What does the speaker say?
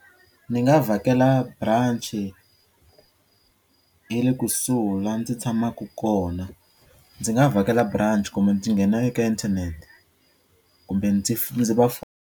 Ni nga vhakela branch ya le kusuhi la ndzi tshamaku kona. Ndzi nga vhakela branch kumbe ndzi nghena eka internet kumbe ndzi ndzi va .